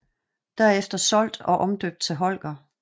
Derefter solgt og omdøbt til Holger